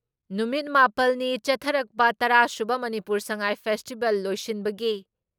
ꯅꯨꯃꯤꯠ ꯃꯥꯄꯜ ꯅꯤ ꯆꯠꯊꯔꯛꯄ ꯇꯔꯥ ꯁꯨꯕ ꯃꯅꯤꯄꯨꯔ ꯉꯁꯥꯏ ꯐꯦꯁꯇꯤꯚꯦꯜ ꯂꯣꯏꯁꯤꯟꯕꯒꯤ